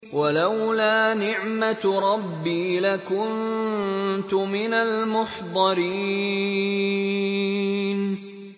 وَلَوْلَا نِعْمَةُ رَبِّي لَكُنتُ مِنَ الْمُحْضَرِينَ